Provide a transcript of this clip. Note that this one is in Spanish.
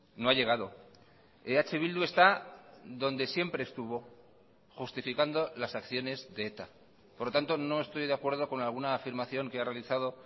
no ha llegado eh bildu está donde siempre estuvo justificando las acciones de eta por lo tanto no estoy de acuerdo con alguna afirmación que ha realizado